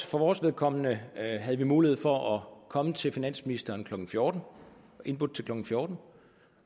for vores vedkommende havde vi mulighed for at komme til finansministeren klokken fjorten indbudt til klokken fjorten